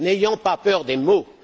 N'ayons pas peur des mots.